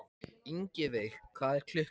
Ingiveig, hvað er klukkan?